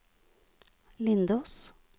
Lindås